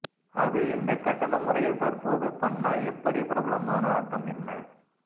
அது இந்தக் கட்டண முறையில் தற்போது பன்னா எப்படி பிரபலமான அர்த்தம் என்ன